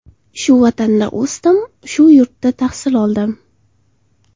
Shu vatanda o‘sdim, shu yurtda tahsil oldim.